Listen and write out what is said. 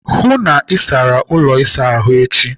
Hụụ n'isara ụlọ ịsa ahụ echi!